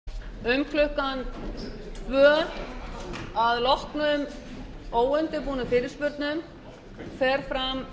um klukkan tvö að loknum óundirbúnum fyrirspurnum fer fram